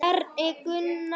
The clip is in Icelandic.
Bjarni Gunnar.